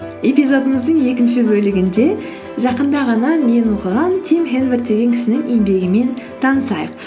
эпизодымыздың екінші бөлігінде жақында ғана мен оқыған тим хэнворд деген кісінің еңбегімен танысайық